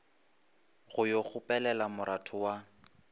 go yo kgopelela moratho wa